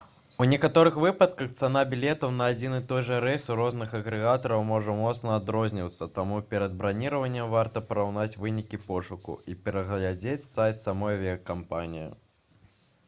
у некаторых выпадках цана білетаў на адзін і той жа рэйс у розных агрэгатараў можа моцна адрознівацца таму перад браніраваннем варта параўнаць вынікі пошуку і прагледзець сайт самой авіякампаніі